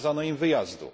Zakazano im wyjazdów.